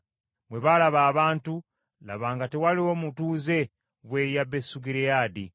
Bwe baalaba abantu, laba nga tewaliiwo mutuuze w’e Yabesugireyaadi.